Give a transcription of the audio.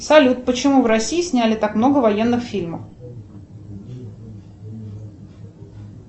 салют почему в россии сняли так много военных фильмов